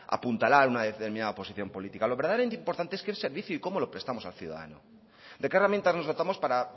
apuntalar una determinada posición política lo verdaderamente importante es qué servicio y cómo lo prestamos al ciudadano de qué herramientas nos dotamos para